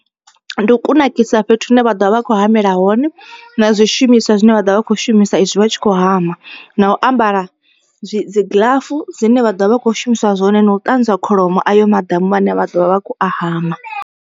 Ndi u kunakisa fhethu hune vha ḓovha vha kho hamela hone na zwishumiswa zwine vha ḓovha vha kho shumisa izwi vha tshi khou hama. Na u ambara dzi gḽafu dzine vha ḓovha vha kho shumisa zwone na u ṱanzwa kholomo ayo maḓamu ane vha ḓovha vha kho a hama.